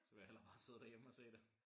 Så vil jeg hellere bare sidde derhjemme og se det